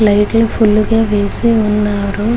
Light లు full గా వేసి వున్నారు.